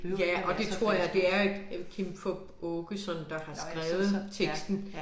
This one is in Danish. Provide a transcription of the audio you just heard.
Ja og det tror jeg det er et øh Kim Fupz Aakeson der har skrevet teksten